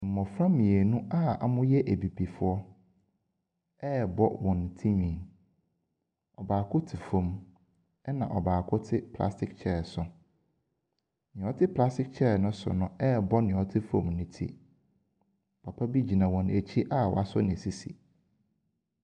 Mmɔfra mmienu a wɔyɛ Abibifoɔ rebɔ wɔn tirinwi. Ɔbaako te fam na ɔbaako te plastic chair so. Deɛ ɔte plastic chair no so no rebɔ deɛ ɔte fam no ti. Papa bi gyina wɔn akyi a wɔasɔ ne sisi.